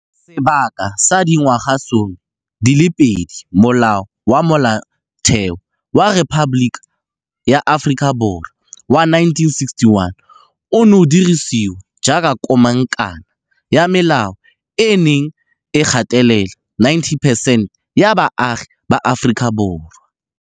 Sebaka sa dingwagasome di le pedi, Molao wa Molaotheo wa Rephaboliki ya Aforika Borwa wa 1961 o ne o dirisiwa jaaka komangkanna ya melao e e neng e gatelela 90 percent ya baagi ba Aforika Borwa.